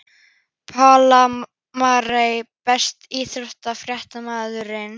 Pála Marie Besti íþróttafréttamaðurinn?